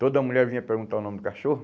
Toda mulher vinha perguntar o nome do cachorro.